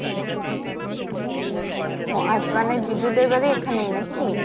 ও আচ্ছা মানে জিজুদের বাড়ি এখানেই নাকি?